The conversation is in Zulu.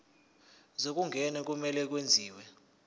zokungena kumele kwenziwe